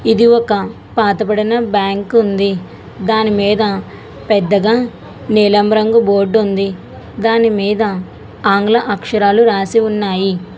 ఇది ఒక పాతబడిన బ్యాంకు ఉంది దానిమీద పెద్దగా నీలం రంగు బోర్డు ఉంది దానిమీద ఆంగ్ల అక్షరాలు రాసి ఉన్నాయి.